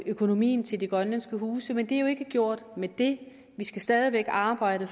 økonomien til de grønlandske huse men det er jo ikke gjort med det vi skal stadig væk arbejde